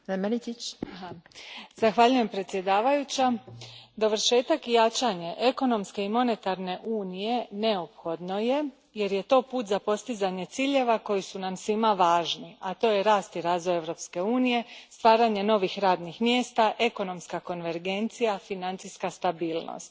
Gospođo predsjednice, dovršetak i jačanje Ekonomske i monetarne unije neophodno je, jer je to put za postizanje ciljeva koji su nam svima važni, a to je rast i razvoj Europske unije, stvaranje novih radnih mjesta, ekonomska konvergencija, financijska stabilnost.